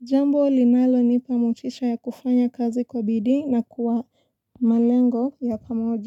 Jambo linalo nipa mutisha ya kufanya kazi kwa bidi na kuwa malengo ya pamoja.